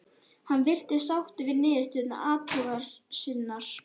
Hann virtist sáttur við niðurstöður athugunar sinnar.